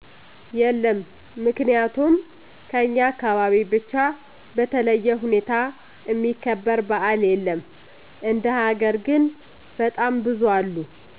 የለም ምክንያቱም ከኛ አካባቢ ብቻ በተለዬ ሁኔታ እሚከበር በዓል የለም እንደ ሀገር ግን በጣም ብዙ አለ